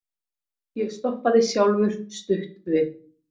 Ég stoppaði sjálfur stutt við.